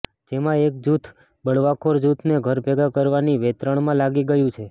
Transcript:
જેમાં એક જૂથ બળવાખોર જૂથને ઘરભેગા કરવાની વેંતરણમાં લાગી ગયુ છે